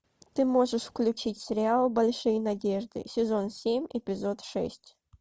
ты можешь включить сериал большие надежды сезон семь эпизод шесть